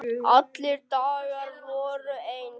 Allir dagar voru eins.